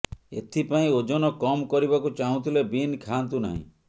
ଏଥିପାଇଁ ଓଜନ କମ୍ କରିବାକୁ ଚାହୁଁଥିଲେ ବିନ୍ ଖାଆନ୍ତୁ ନାହିଁ